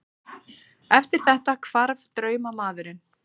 Eftir þetta hvarf draumamaðurinn.